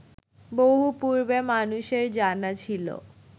বহু পূর্বে মানুষের জানা ছিল